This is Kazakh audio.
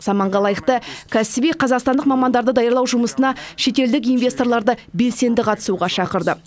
заманға лайықты кәсіби қазақстандық мамандарды даярлау жұмысына шетелдік инвесторларды белсенді қатысуға шақырды